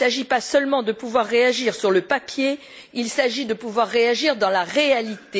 Il ne s'agit pas seulement de pouvoir réagir sur le papier, il s'agit de pouvoir réagir dans la réalité.